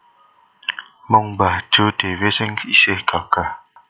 Mung mbah Jo dhewe sing isih gagah